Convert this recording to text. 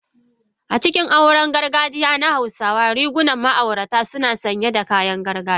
A cikin auren gargajiya na hausawa, rigunan ma'auratan suna sanye da kayan gargajiya.